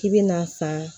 K'i bina san